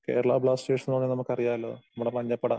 Kerala Blasters ന്ന് പറഞ്ഞാൽ നമുക്ക് അറിയാലോ? നമ്മടെ മഞ്ഞപ്പട.